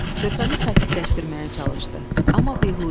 Körpəni sakitləşdirməyə çalışdı, amma beyhudə idi.